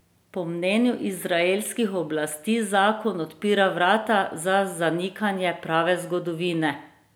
Po mnenju izraelskih oblasti zakon odpira vrata za zanikanje prave zgodovine.